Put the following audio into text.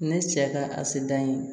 Ne cɛ ka a se dayi